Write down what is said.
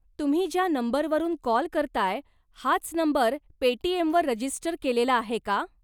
तुम्ही ज्या नंबरवरून कॉल करताय, हाच नंबर पेटीएमवर रजिस्टर केलेला आहे का ?